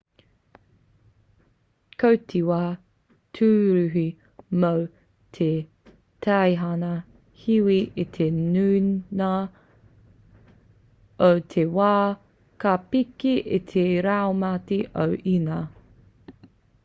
ko te wā tūruhi mō te teihana hiwi i te nuinga o te wā ka piki i te raumati o inia